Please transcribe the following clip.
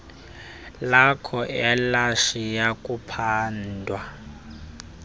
lakho alisayi kuphandwa